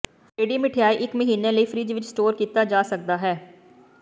ready ਮਿਠਆਈ ਇੱਕ ਮਹੀਨੇ ਲਈ ਫਰਿੱਜ ਵਿੱਚ ਸਟੋਰ ਕੀਤਾ ਜਾ ਸਕਦਾ ਹੈ